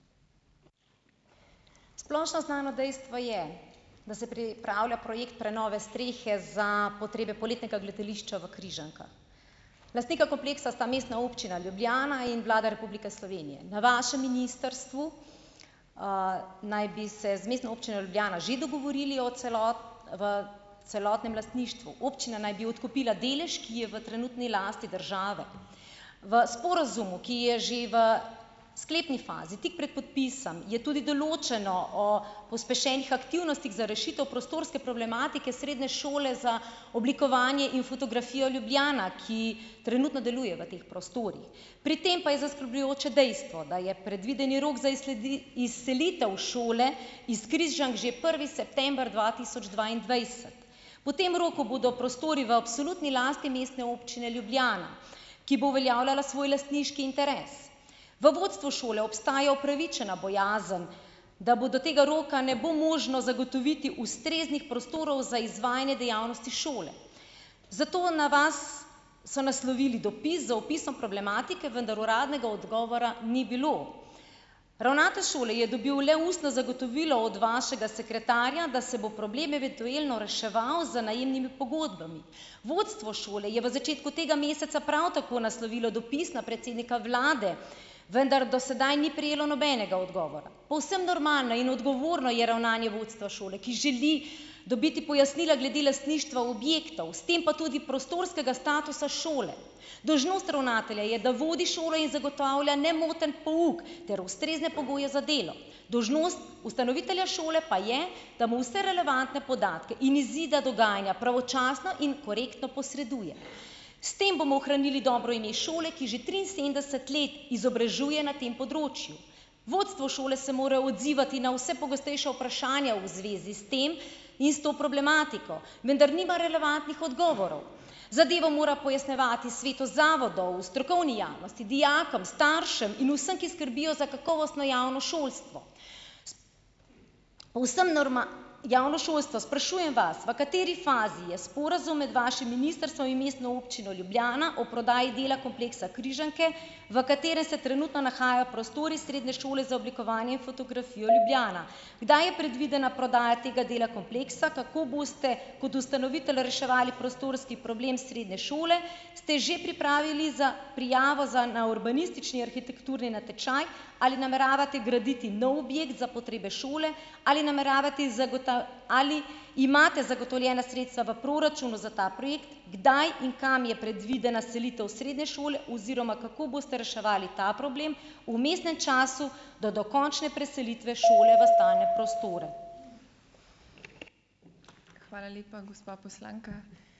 Splošno znano dejstvo je, da se pripravlja projekt prenove strehe za potrebe poletnega gledališča v Križankah. Lastnika kompleksa sta Mestna občina Ljubljana in Vlada Republike Slovenije. Na vašem ministrstvu, naj bi se z Mestno občino Ljubljana že dogovorili o o celotnem lastništvu. Občina naj bi odkupila delež, ki je v trenutni lasti države. V sporazumu, ki je že v sklepni fazi, tik pred podpisom, je tudi določeno o pospešenih aktivnostih za rešitev prostorske problematike Srednje šole za oblikovanje in fotografijo Ljubljana, ki trenutno deluje v teh prostorih. Pri tem pa je zaskrbljujoče dejstvo, da je predvideni rok za izselitev šole iz Križank že prvi september dva tisoč dvaindvajset. Po tem roku bodo prostori v absolutni lasti Mestne občine Ljubljana, ki bo uveljavljala svoj lastniški interes. V vodstvu šole obstaja upravičena bojazen, da bo do tega roka ne bo možno zagotoviti ustreznih prostorov za izvajanje dejavnosti šole. Zato na vas so naslovili dopis z opisom problematike, vendar uradnega odgovora ni bilo. Ravnatelj šole je dobil le ustno zagotovilo od vašega sekretarja, da se bo problem eventuelno reševal z najemnimi pogodbami. Vodstvo šole je v začetku tega meseca prav tako naslovilo dopis na predsednika vlade, vendar do sedaj ni prejelo nobenega odgovora. Povsem normalno in odgovorno je ravnanje vodstva šole, ki želi dobiti pojasnila glede lastništva objektov, s tem pa tudi prostorskega statusa šole. Dolžnost ravnatelja je, da vodi šolo in zagotavlja nemoten pouk, ter ustrezne pogoje za delo. Dolžnost ustanovitelja šole pa je, da mu vse relevantne podatke in izide dogajanja pravočasno in korektno posreduje. S tem bomo ohranili dobro ime šole, ki že triinsedemdeset let izobražuje na tem področju. Vodstvo šole se mora odzivati na vse pogostejša vprašanja v zvezi s tem in s to problematiko, vendar nima relevantnih odgovorov. Zadevo mora pojasnjevati svetu zavodov, strokovni javnosti, dijakom, staršem in vsem, ki skrbijo za kakovostno javno šolstvo. povsem javno šolstvo. Sprašujem vas, v kateri fazi je sporazum med vašim ministrstvom in Mestno občino Ljubljana o prodaji dela kompleksa Križanke, v katerem se trenutno nahajajo prostori Srednje šole za oblikovanje in fotografijo Ljubljana . Kdaj je predvidena prodaja tega dela kompleksa, kako boste, kot ustanovitelj, reševali prostorski problem srednje šole? Ste že pripravili prijavo za na urbanistični arhitekturni natečaj? Ali nameravate graditi nov objekt za potrebe šole? Ali nameravati ali imate zagotovljena sredstva v proračunu za ta projekt? Kdaj in kam je predvidena selitev srednje šole oziroma kako boste reševali ta problem vmesnem času do dokončne preselitve šole v stalne prostore ? Hvala lepa, gospa poslanka.